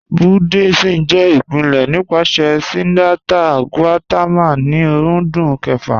Buddhism jẹ ipilẹ̀ nipasẹ̀ Siddhartha Gautama ni ọ̀rúndún kẹ̀fà.